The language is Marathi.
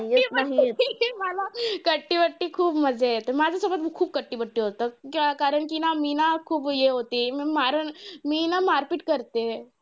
कट्टी बट्टी मला कट्टी बट्टी खूप मज्जा येते. माझ्यासोबत खूप कट्टी बट्टी होतं. कारण कि मी ना खूप हे होते. मी मारणं, मी ना मारपीट करते.